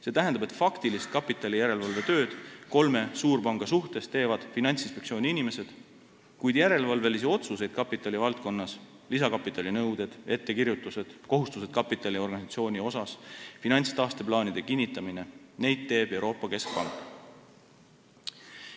See tähendab, et faktilist kapitalijärelevalvet kolme suurpanga üle teevad Finantsinspektsiooni inimesed, kuid järelevalvelisi otsuseid kapitali valdkonnas – lisakapitali nõuded, ettekirjutused, kapitali ja organisatsiooniga seotud kohustused, finantstaasteplaanide kinnitamine – teeb Euroopa Keskpank.